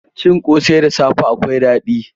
Cin ƙosai da safe akwai daɗi.